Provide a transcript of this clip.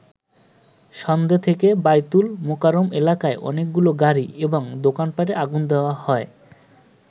সন্ধ্যে থেকে বায়তুল মোকাররম এলাকায় অনেকগুলো গাড়ি এবং দোকান পাটে আগুন দেয়া হয়।